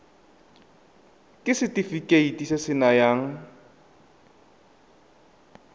ke setefikeiti se se nayang